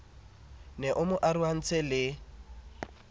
ne e mo arohantse le